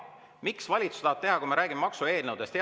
Miks valitsus tahab teha, kui me räägime maksueelnõudest?